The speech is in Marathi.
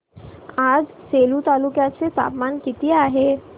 आज सेलू तालुक्या चे तापमान किती आहे